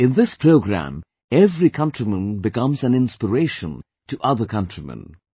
In this program, every countryman becomes an inspiration to other countrymen